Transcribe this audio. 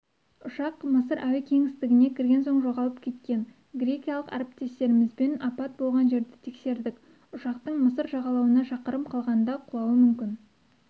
ұшақ мысыр әуе кеңістігіне кірген соң жоғалып кеткен грекиялық әріптестерімізбен апат болған жерді тексердік ұшақтың мысыр жағалауына шақырым қалғанда құлауы мүмкін